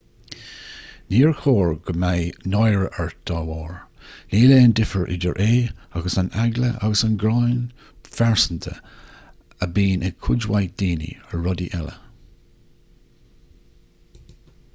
níor chóir go mbeidh náire ort dá bharr níl aon difear idir é agus an eagla agus gráin phearsanta a bhíonn ag cuid mhaith daoine ar rudaí eile